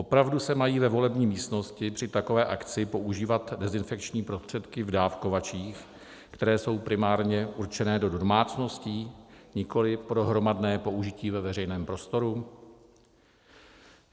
Opravdu se mají ve volební místnosti při takové akci používat dezinfekční prostředky v dávkovačích, které jsou primárně určeny do domácností, nikoliv pro hromadné použití ve veřejném prostoru?